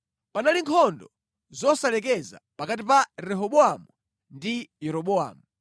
Panali nkhondo zosalekeza pakati pa Rehobowamu ndi Yeroboamu.